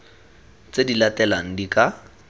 tse di latelang di ka